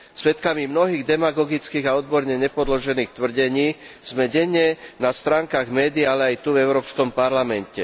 Svedkami mnohých demagogických a odborne nepodložených tvrdení sme denne na stránkach médií, ale aj tu v Európskom parlamente.